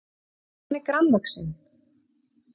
En hvað hann var grannvaxinn!